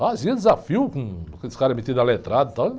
Fazia desafio com aqueles caras metidos letrado e tal.